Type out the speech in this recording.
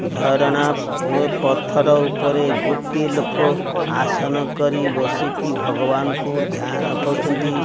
ଝରଣା ପୁଅ ପଥର ଉପରେ ଗୋଟିଏ ଲୋକ ଆସନ କରି ବସିକି ଭଗବାନକୁ ଧ୍ୟାନ କରୁଛନ୍ତି।